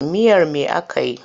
Miyar me aka yi?